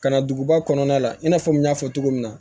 Ka na duguba kɔnɔna la i n'a fɔ n y'a fɔ cogo min na